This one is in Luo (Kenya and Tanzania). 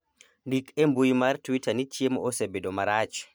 ndik e mbui mar twita ni chiemo osebedo marach